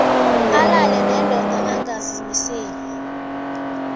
alale nendoda angakazimiseli